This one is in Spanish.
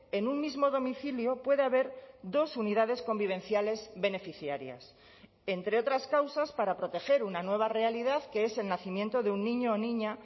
en un mismo domicilio puede haber dos unidades convivenciales beneficiarias entre otras causas para proteger una nueva realidad que es el nacimiento de un niño o niña